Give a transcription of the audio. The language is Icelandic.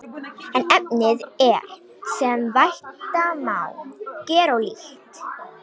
En efnið er, sem vænta má, gerólíkt.